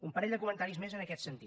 un parell de comentaris més en aquest sentit